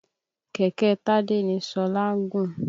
Kẹ̀kẹ́ Tádé ni Ṣọlá gùn.